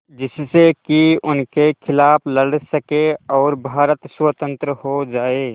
जिससे कि उनके खिलाफ़ लड़ सकें और भारत स्वतंत्र हो जाये